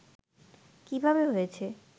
কিভাবে হয়েছে